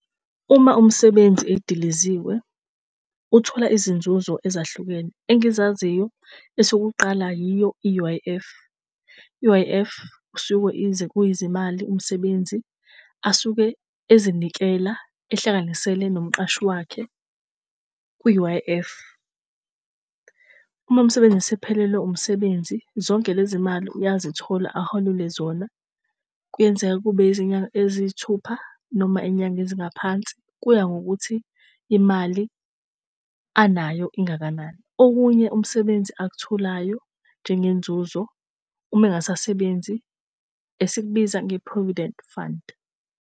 Uma umsebenzi edilizwe uthola izinzuzo ezahlukene. Engizaziyo, esokuqala yiyo i-U_I_F. I-U_I_F kushiwo kuyizimali umsebenzi asuke ezinikelayo ehlanganisele nomqashi wakhe kwi-U_I_F. Uma umsebenzi esephelelwe umsebenzi, zonke lezi mali uyazithola aholelwe zona. Kuyenzeka kube izinyanga eziyisithupha noma iy'nyanga ezingaphansi, kuya ngokuthi imali anayo ingakanani. Okunye umsebenzi akutholayo njengenzuzo, uma engasasebenzi esikubiza nge-provident fund.